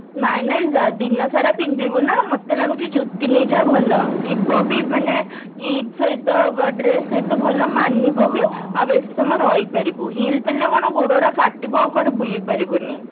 ନାଇଁ ନାଇଁ ଦିନସାରା ପିନ୍ଧିବୁ ନା ମତେ ଲାଗୁଛି ଯୁତି ନେଇଯା ଭଲ ଯିବ ବି ମାନେ ଇଦ ସହିତ dress ସହିତ ଭଲ ମାନିବ ବି ଆଉ ବେଶୀ ସମୟ ରହି ପାରିବୁ heel ପିନ୍ଧିଲେ କଣ ଗୋଡ ଗୁରା କାଟିବ ଆଉ କୁଆଡେ ବୁଲି ପାରିବୁନି